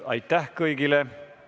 Aitäh kõigile!